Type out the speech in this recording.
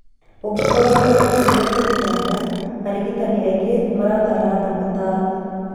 Ũngĩkorwo nĩ ũreciria kũruta nda, arigitani aingĩ nĩmatara andũ matarwo.